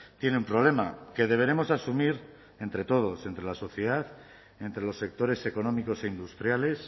tiene un problema que deberemos asumir entre todos entre la sociedad entre los sectores económicos e industriales